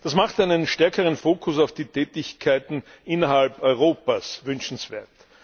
Das macht einen stärkeren Fokus auf die Tätigkeiten innerhalb Europas wünschenswert.